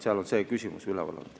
See on see küsimus, mis on üleval olnud.